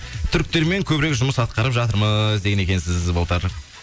түріктермен көбірек жұмыс ақтарып жатырмыз деген екенсіз былтыр